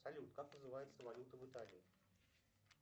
салют как называется валюта в италии